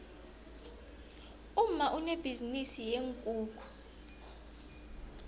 umma unebhizinisi yeenkukhu